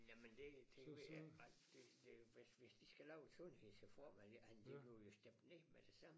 Jamen det det ved jeg ikke ret det det hvis hvis de skal lave en sundhedsreform han det blev jo stemt ned med det samme